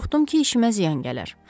Qorxdum ki, işimə ziyan gələr.